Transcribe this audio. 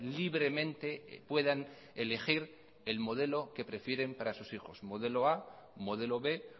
libremente puedan elegir el modelo que prefieren para sus hijos modelo a modelo b